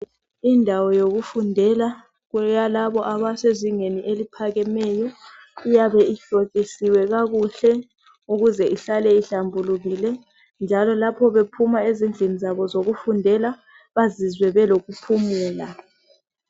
Indawo yokufundela kweyalabo abasezingeni eliphakemeyo, iyabe ihlokisiwe kakuhle ukuze ihlale ihlambulukile njalo lapho bephuma ezindlini zabo zokufundela bazizwe belokuphumula.